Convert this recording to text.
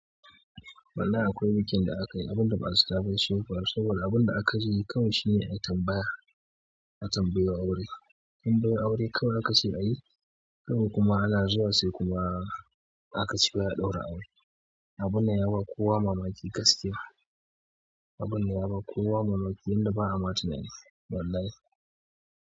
Wallahi akwai bikin da aka yi, abun da ba a zata ba shi ya faru. Saboda abun da aka yi kawai shine a tambaya, a tambayo aure. Tambayo aure kawai aka ce a yi, kawai kuma ana zuwa sai kuma aka ce wai a ɗaura aure. Abun nan ya ba kowa mamaki gaskiya. Abun ya ba kowa mamaki inda ba a matane. Wallahi.